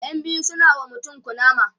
ƴan biyu suna wa mutum kunama